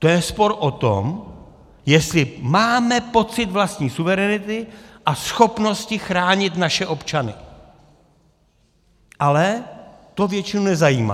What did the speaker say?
To je spor o tom, jestli máme pocit vlastní suverenity a schopnosti chránit naše občany, ale to většinu nezajímá.